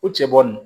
O cɛ bɔri